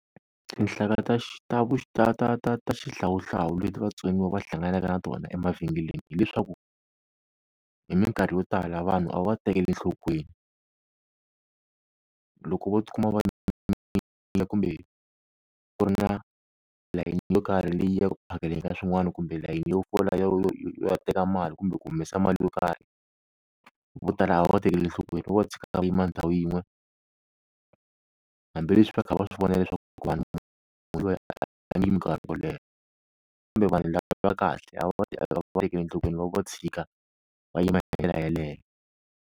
Tinhlaka ta ta ta ta ta ta xihlawuhlawu leti vatsoniwa va hlanganeke na tona emavhengeleni hileswaku hi minkarhi yo tala vanhu a va va tekeli enhlokweni. Loko vo tikuma va kumbe ku ri na layeni yo karhi leyi ya ku ku phakeleni ka swin'wani kumbe layeni yo fola yo ya teka mali kumbe ku humesa mali yo karhi, vo tala a va va tekeli hlokweni vo va tshika va yima ndhawu yin'we, hambileswi va kha va swi vona leswaku a nge yimi nkarhi wo leha, kumbe vanhu lava va kahle a va va tekeli enhlokweni va va va tshika va yima ndlela yeleye.